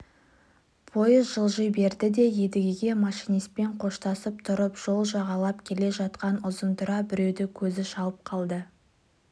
пойыз жылжи берді де едіге машинистпен қоштасып тұрып жол жағалап келе жатқан ұзынтұра біреуді көзі шалып қалды